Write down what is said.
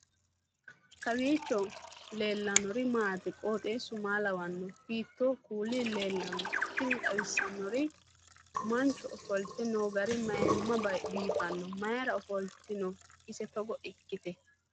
kowiicho leellannori maati ? qooxeessu maa lawaanno ? hiitoo kuuli leellanno ? tini xawissannori mancho ofolte noo gari mayimma biifanno mayra ofoltino ise togo ikkite